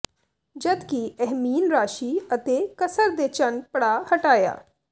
ਜਦ ਕਿ ਇਹ ਮੀਨ ਰਾਸ਼ੀ ਅਤੇ ਕਸਰ ਦੇ ਚੰਨ ਪੜਾਅ ਹਟਾਇਆ